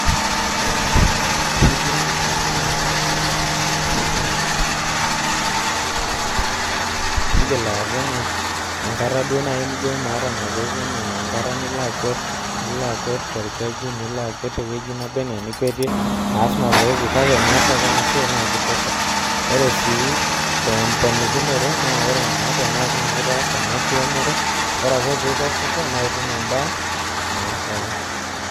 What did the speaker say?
Ore ena siai enkiremore naa ore enedukuya itu eeku endaa naa king'as aas mazoezi miigil aata enkata duo naai nijo maata mazoezi enaa enkata nilo akwet nilo akwet torkeju nilo akwet tewueji naba enaa enilo akwetie aas mazoezi kake teniaas ake ena siai kitosha ore sii temponikinoto naa ore naa teneeku naa itaasa ena kiremore ore ake pee ikesisho naa itum endaa naa e ang'.